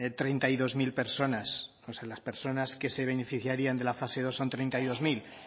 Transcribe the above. treinta y dos mil personas o sea las personas que se beneficiarían de la fase dos son treinta y dos mil